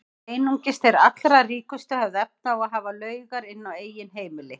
Einungis þeir allra ríkustu höfðu efni á að hafa laugar inni á eigin heimili.